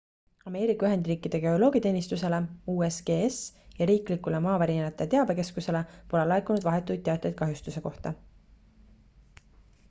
ameerika ühendriikide geoloogiateenistusele usgs ja riiklikule maavärinate teabekeskusele pole laekunud vahetuid teateid kahjustuste kohta